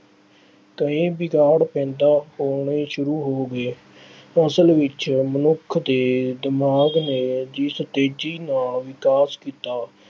ਕਈ ਵਿਗਾੜ ਪੈਦਾ ਹੋਣੇ ਸ਼ੁਰੂ ਹੋ ਗਏ। ਅਸਲ ਵਿੱਚ ਮਨੁੱਖ ਦੇ ਦਿਮਾਗ ਨੇ ਜਿਸ ਤੇਜ਼ੀ ਨਾਲ ਵਿਕਾਸ ਕੀਤਾ।